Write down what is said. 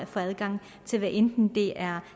for adgang hvad enten det er